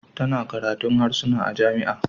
Tana karatun harsuna a jami'a